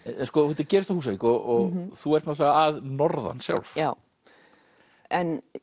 þetta gerist á Húsavík og þú ert náttúrulega að norðan sjálf en